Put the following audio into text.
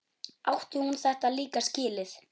Átti hún þetta líka skilið?